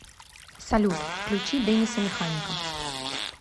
салют включи дэниса механика